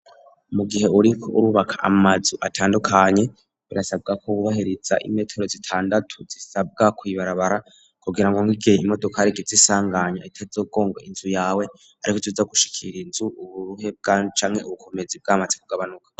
Mu gihe uriko urubaka amazu atandukanye birasabwa ko bubahiriza imetero zitandatu zisabwa kwibarabara kugira ngo mugihe imodoka igize izisanganya munzu yawe ariko itaza gushikira inzu uburuhe bwacamwe ubukomezi bw'amaze kugabanuka.